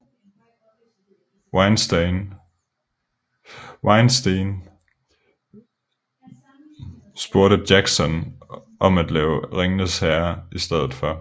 Weinstein spurgte Jackson om at lave Ringenes herre i stedet for